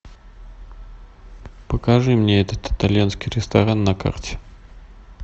покажи мне этот итальянский ресторан на карте